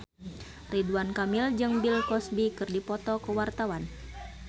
Ridwan Kamil jeung Bill Cosby keur dipoto ku wartawan